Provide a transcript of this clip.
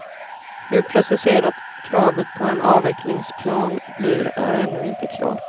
Hur preciserat kravet på en avvecklingsplan blir är ännu inte klart.